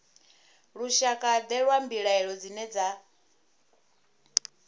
lushakade lwa mbilaelo dzine dza